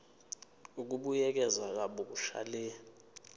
ukubuyekeza kabusha le